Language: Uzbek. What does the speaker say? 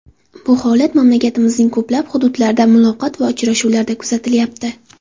Bu holat mamlakatimizning ko‘plab hududlaridagi muloqot va uchrashuvlarda kuzatilyapti.